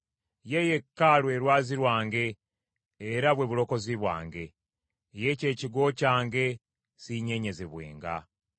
Ye yekka lwe lwazi lwange era bwe bulokozi bwange, ye kye kigo kyange, siinyeenyezebwenga.